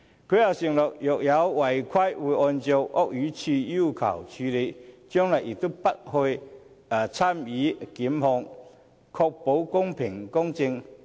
她又承諾若有違規，會按照屋宇署要求處理，將來亦不會參與檢控，確保公平公正。